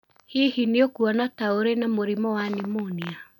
Hihi nĩ ũkuona ta ũrĩ na mũrimũ wa pneumonia?